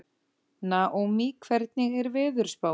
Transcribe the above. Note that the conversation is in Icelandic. Naómí, hvernig er veðurspáin?